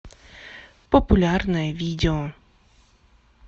популярное видео